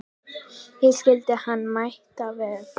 Ég skildi hann mæta vel.